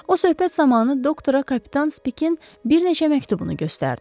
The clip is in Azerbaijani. O, söhbət zamanı doktora kapitan Spikin bir neçə məktubunu göstərdi.